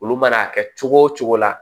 Olu mana kɛ cogo o cogo la